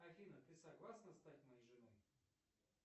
афина ты согласна стать моей женой